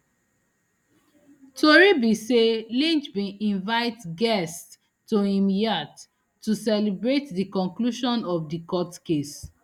tori be say lynch bin invite guests to im yacht to celebrate di conclusion of di court case